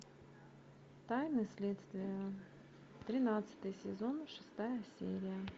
тайны следствия тринадцатый сезон шестая серия